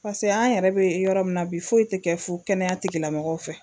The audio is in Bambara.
Paseke an yɛrɛ bɛ yɔrɔ min na bi foyi tɛ kɛ fu kɛnɛya tigilamɔgɔw fɛ